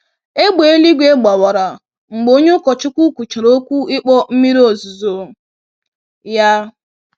Égbè eluigwe gbawara mgbe onye ụkọchukwu kwuchara okwu ịkpọ mmiri ozuzo ya.